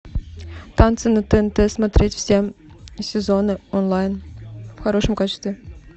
танцы на тнт смотреть все сезоны онлайн в хорошем качестве